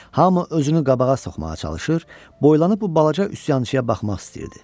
Hamı özünü qabağa soxmağa çalışır, boylanıb bu balaca üsyançıya baxmaq istəyirdi.